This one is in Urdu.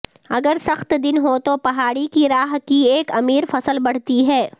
اگر سخت دن ہو تو پہاڑی کی راھ کی ایک امیر فصل بڑھتی ہے